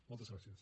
moltes gràcies